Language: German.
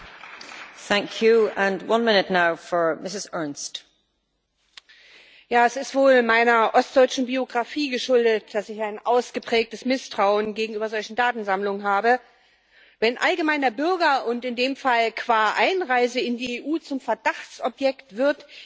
Frau Präsidentin! Es ist wohl meiner ostdeutschen Biografie geschuldet, dass ich ein ausgeprägtes Misstrauen gegenüber solchen Datensammlungen habe. Wenn der Bürger allgemein und in dem Fall qua Einreise in die EU zum Verdachtsobjekt wird, dann stimmt etwas nicht und